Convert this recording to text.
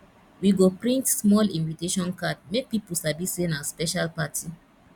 we go print small invitation card make people sabi say na special party